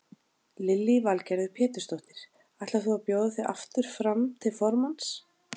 Lillý Valgerður Pétursdóttir: Ætlar þú að bjóða þig aftur fram til formanns?